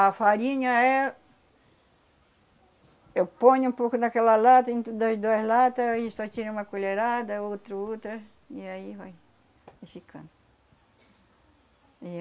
A farinha é... Eu ponho um pouco naquela lata, ent dois duas latas, e só tiro uma colherada, outra, outra, e aí vai ficando.